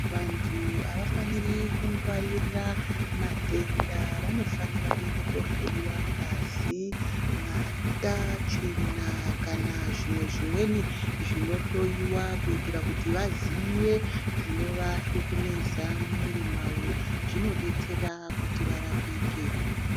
Vantu havafaniri kugwaririra matenda vanofanira kuenda kohloiwa ngazi, mata, tsvina kana zvimweni zvinohloiwa. Kuitira kuti vaziye zvinovasukumidza mumwiri mwavo zvinobetsera kuti varapike.